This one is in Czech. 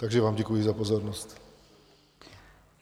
Takže vám děkuji za pozornost.